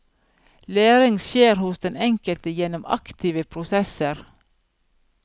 Læring skjer hos den enkelte gjennom aktive prosesser.